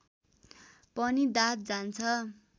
पनि दाद जान्छ